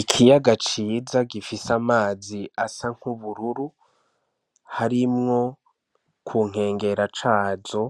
Ikiyaga ciza gifise amazi asa nku bururu harimwo ku nkengera cazo